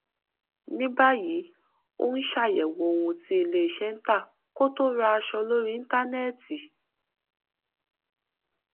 ní báyìí ó ń ṣàyẹwò ohun tí ilé iṣẹ ń tà kó tó ra aṣọ lórí íńtánẹẹtì